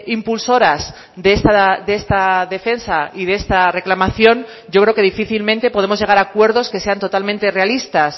impulsoras de esta defensa y de esta reclamación yo creo que difícilmente podemos llegar a acuerdos que sean totalmente realistas